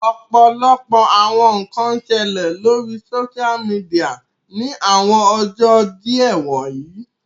Ọpọlọpọ awọn nkan n ṣẹlẹ lori soṣia midia ni awọn ọjọ diẹ wọnyi